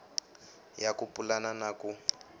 ya ku pulana na ku